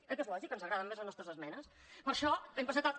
eh que és lògic que ens agradin més les nostres esmenes per això hem presentat la